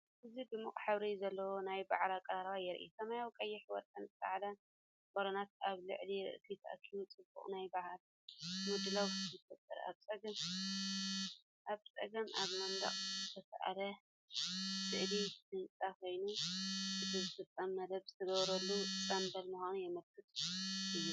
እዚ ድሙቕ ሕብሪ ዘለዎ ናይ በዓል ኣቀራርባ የርኢ። ሰማያዊ፡ ቀይሕ፡ወርቅን ጻዕዳን ባሎናት ኣብ ልዕሊ ርእሲ ተኣኪቡ ጽቡቕ ናይ በዓል ምድላው ይፈጥር። ኣብ ጸጋም ኣብ መንደቕ ዝተሳእለ ስእሊ ህጻን ኮይኑ፡ እቲ ፍጻመ መደብ ዝተገብረሉ ጽምብል ምዃኑ ዘመልክት እዩ።